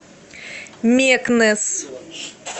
мекнес